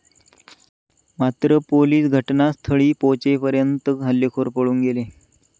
मात्र पोलिस घटनास्थळी पोहचेपर्यंत हल्लेखोर पळून गेले.